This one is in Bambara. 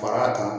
Fara